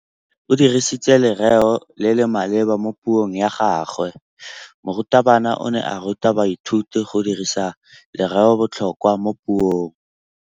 O dirisitse lerêo le le maleba mo puông ya gagwe. Morutabana o ne a ruta baithuti go dirisa lêrêôbotlhôkwa mo puong.